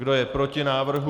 Kdo je proti návrhu?